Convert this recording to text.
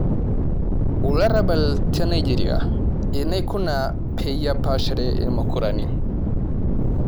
Olarabal te Nigeria '' Enaikuna peyie apaashare irmukurani''